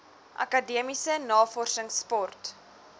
akademiese navorsings sport